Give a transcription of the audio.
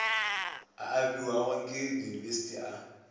a abiwago ke diyunibesithi a